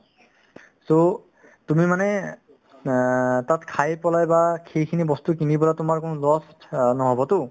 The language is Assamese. so, তুমি মানে অ তাত খাই পেলাই বা সেইখিনি বস্তু কিনি পেলাই তোমাৰ কোনো lost অ নহ'বতো